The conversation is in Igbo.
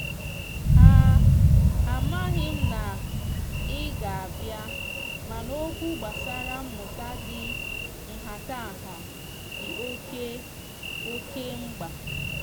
a amaghim na ị ga a bịa mana oķwụ gbasara mmụta di nghatangha di oke oke mgba.